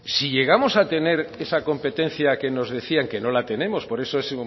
si llegamos a tener esa competencia que nos decía que no la tenemos por eso